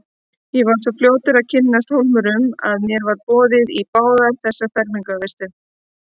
Ég var svo fljótur að kynnast Hólmurum að mér var boðið í báðar þessar fermingarveislur.